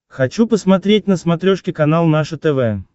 хочу посмотреть на смотрешке канал наше тв